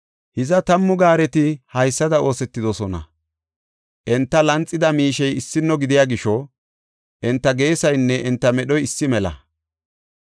Hiza tammu gaareti haysada oosetidosona; enta lanxida miishey issino gidiya gisho enta geesaynne enta medhoy issi mela.